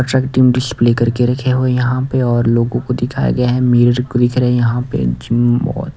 display करके रखे हो यहां पे और लोगों को दिखाया गया है मेरे को भी दिख रहे है यहां पे जिम --